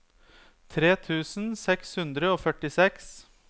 tre tusen seks hundre og førtiseks